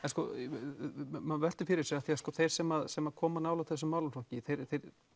maður veltir fyrir sér af því þeir sem sem koma nálægt þessum málaflokki þeir